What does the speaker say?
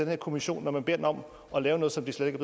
her kommission når man beder den om at lave noget som den slet ikke